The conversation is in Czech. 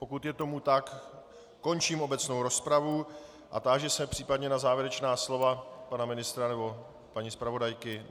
Pokud je tomu tak, končím obecnou rozpravu a táži se případně na závěrečná slova pana ministra nebo paní zpravodajky.